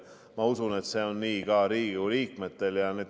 Ma usun, et see on nii ka Riigikogu liikmetel.